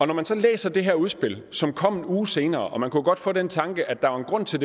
når man så læser det her udspil som kom en uge senere og man kunne godt få den tanke at der var en grund til